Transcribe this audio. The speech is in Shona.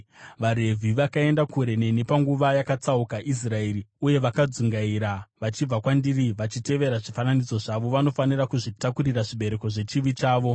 “ ‘VaRevhi vakaenda kure neni panguva yakatsauka Israeri uye vakadzungaira vachibva kwandiri vachitevera zvifananidzo zvavo vanofanira kuzvitakurira zvibereko zvechivi chavo.